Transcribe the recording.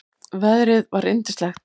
Veðrið var yndislegt.